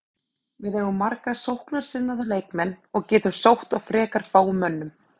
Við eigum marga sóknarsinnaða leikmenn og getum sótt á frekar fáum mönnum.